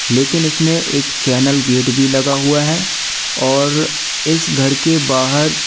लेकिन इसमें एक चैनल गेट भी लगा हुआ है और इस घर के बाहर--